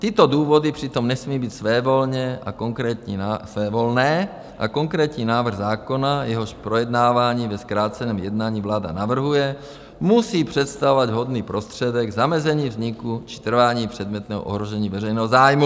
Tyto důvody přitom nesmí být svévolné a konkrétní návrh zákona, jehož projednávání ve zkráceném jednání vláda navrhuje, musí představovat vhodný prostředek zamezení vzniku či trvání předmětného ohrožení veřejného zájmu.